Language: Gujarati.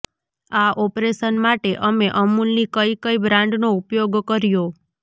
આ ઓપરેશન માટે અમે અમૂલની કઈ કઈ બ્રાન્ડનો ઉપયોગ કર્યો